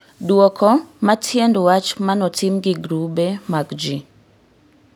Duoko ma tiend wach manotim gi grube mag ji